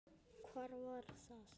Hvar var það?